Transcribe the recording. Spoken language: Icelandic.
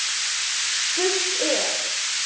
Spurt er?